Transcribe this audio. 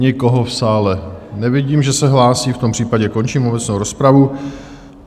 Nikoho v sále nevidím, že se hlásí, v tom případě končím obecnou rozpravu.